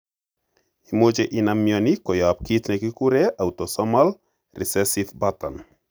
Imuche inam mioni koyop kit ne kigiguren autosomal recessive pattern.